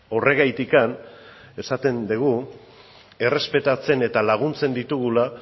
horregatik esaten dugu errespetatzen eta laguntzen ditugula